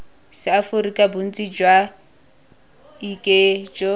seaforika bontsi jwa ik jo